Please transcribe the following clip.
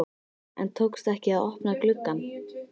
En tókst ekki að opna glugg ann.